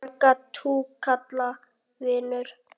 Marga túkalla vinur?